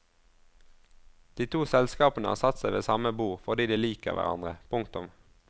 De to selskapene har satt seg ved samme bord fordi de liker hverandre. punktum